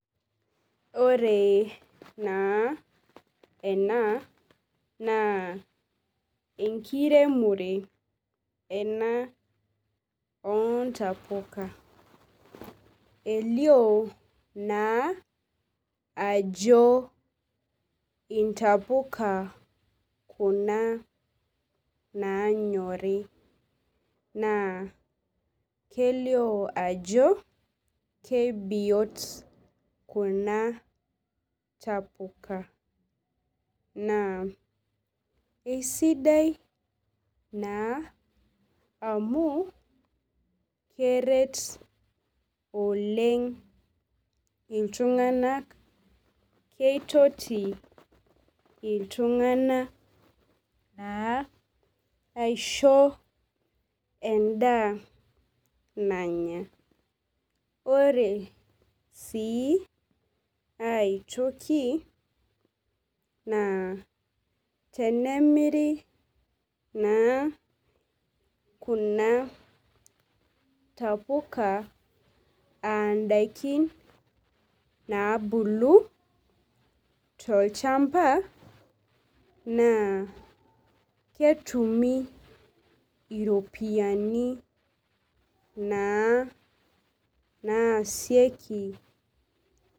Ore naa tene neji naa kaidim najo elioo olashumbai obo naa onkayiok are nelioo aajo keetia embaye nagirai aitoduaki kuna ayiook kutitik eeta naa embaye nagira itra ele ashumbai aiteng'en kuna ayiook ebaiki nipirta technology amu elioo ipungita computer tenkaina enkiti ipad neeku ebaiki naa ina baye egira aitodol ashu..